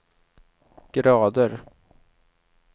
grader